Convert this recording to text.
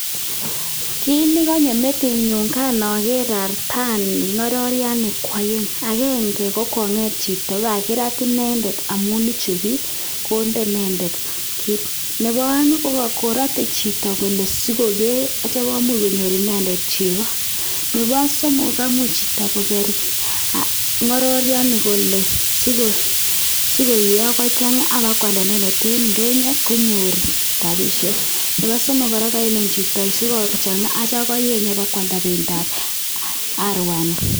Koi nikanyoo metitit nyuun nageer artanii KO karat Chito Netai sigopit kwaget ,Nepo aek ko sigopit kekee chekoo Nepo somok KO sigopit kwaget si geeip Kwa ndonyo pa kenyorune rapisheek ngealda